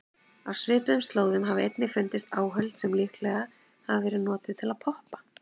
Á svipuðum slóðum hafa einnig fundist áhöld sem líklega hafa verið notuð til að poppa.